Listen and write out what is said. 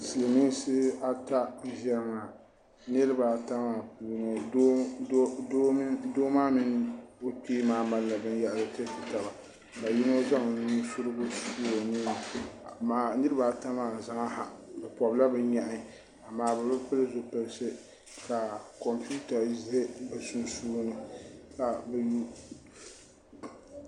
silimiinsi ata n-ʒiya maa niriba ata maa puuni doo maa mini o kpee maa mali la binyɛhiri tiri ti taba ka yino zaŋ nu' surigu n-su o nuu ni amaa niriba ata maa zaa ha bɛ pɔbila bɛ nyehi amaa bɛ bi pili zupiliti ka kompiuta ʒe bɛ sunsuuni ka bɛ yuunda.